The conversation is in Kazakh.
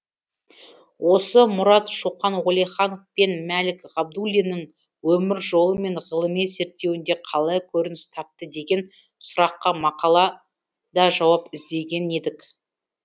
осы мұрат шоқан уәлиханов пен мәлік ғабдуллиннің өмір жолы мен ғылыми зерттеуінде қалай көрініс тапты деген сұраққа мақалада жауап іздеген едік